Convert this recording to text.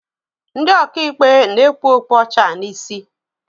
Ndị ọkaikpe na-ekpu okpu ọcha n'isi.